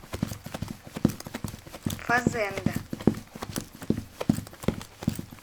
фазенда